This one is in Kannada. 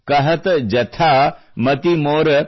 ಕಹತ ಜಥಾ ಮತಿ ಮೋರ